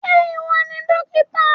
Ṣé ìwọ ni dókítà?